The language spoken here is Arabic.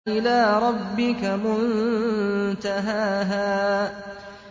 إِلَىٰ رَبِّكَ مُنتَهَاهَا